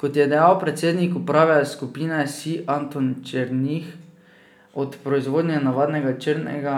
Kot je dejal predsednik uprave Skupine Sij Anton Černih, od proizvodnje navadnega črnega